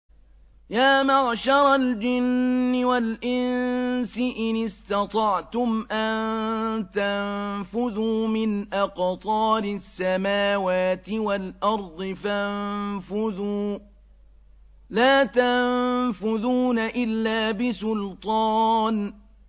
يَا مَعْشَرَ الْجِنِّ وَالْإِنسِ إِنِ اسْتَطَعْتُمْ أَن تَنفُذُوا مِنْ أَقْطَارِ السَّمَاوَاتِ وَالْأَرْضِ فَانفُذُوا ۚ لَا تَنفُذُونَ إِلَّا بِسُلْطَانٍ